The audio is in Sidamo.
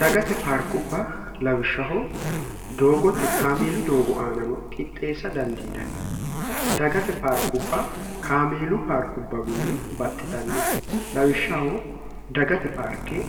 dagate paarkubba lawishshaho doogote kaameelu doogo aanano qixxeessa dandiinanni dagate paarkubba kaameelu paarkubbawinni baxxitanno lawishshaho dagate paarkee